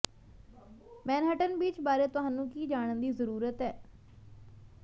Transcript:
Manhattan Beach ਬਾਰੇ ਤੁਹਾਨੂੰ ਕੀ ਜਾਣਨ ਦੀ ਜ਼ਰੂਰਤ ਹੈ